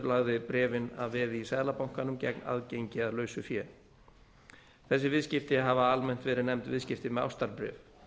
lagði bréfin að veði í seðlabankanum gegn aðgengi að lausu fé þessi viðskipti hafa almennt verið nefnd viðskipti með ástarbréf